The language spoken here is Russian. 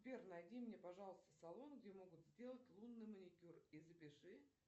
сбер найди мне пожалуйста салон где могут сделать лунный маникюр и запиши